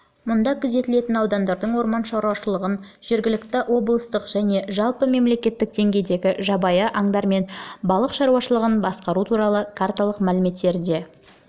мұнда күзетілетін аудандардың орман шаруашылығын жергілікті облыстық және жалпы мемлекеттік деңгейдегі жабайы аңдар мен балық шаруашылығын басқару туралы карталық мәліметтерінде